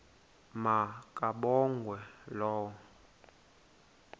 ma kabongwe low